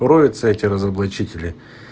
эти разоблачители